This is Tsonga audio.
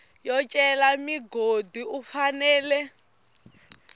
yo cela mugodi u fanela